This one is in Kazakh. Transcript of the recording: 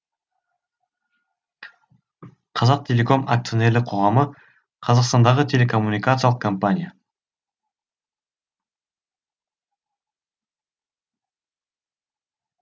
қазақтелеком акционерлік қоғамы қазақстандағы телекоммуникациялық компания